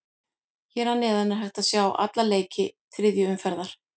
Hér að neðan er hægt að sjá alla leiki þriðju umferðar.